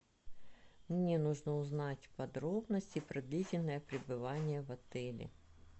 мне нужно узнать подробности про длительное пребывание в отеле